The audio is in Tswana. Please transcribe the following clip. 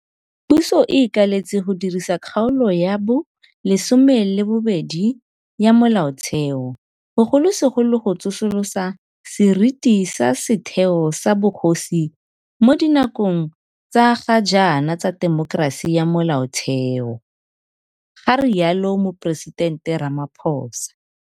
Puso e ikaeletse go dirisa Kgaolo ya bo 12 ya Molaotheo, bogolosegolo go tsosolosa seriti sa setheo sa bogosi mo dinakong tsa ga jaana tsa temokerasi ya Molaotheo, ga rialo Moporesitente Ramaphosa.